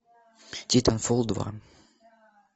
титанфол два